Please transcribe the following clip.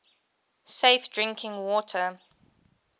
safe drinking water